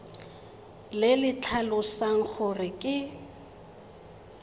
le le tlhalosang gore ke